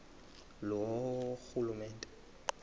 loorhulumente